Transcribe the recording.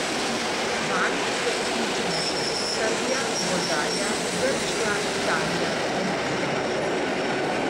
Vanj so vključene še Srbija, Bolgarija, Grčija, Italija in Slovaška.